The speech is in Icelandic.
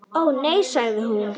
Ó, nei sagði hún, nei.